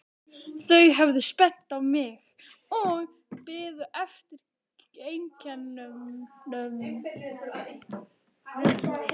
Þau horfðu spennt á mig og biðu eftir einkennunum.